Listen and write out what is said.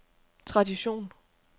tradition